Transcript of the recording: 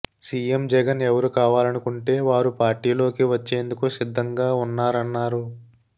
CM Jagan ఎవరు కావాలనుకుంటే వారు పార్టీలోకి వచ్చేందుకు సిద్ధంగా ఉన్నారన్నారు